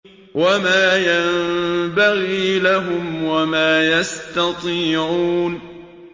وَمَا يَنبَغِي لَهُمْ وَمَا يَسْتَطِيعُونَ